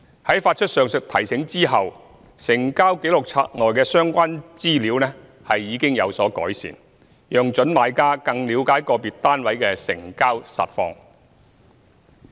在發出上述"提醒"後，成交紀錄冊內的相關資料已有所改善，讓準買家更了解個別單位的成交實況。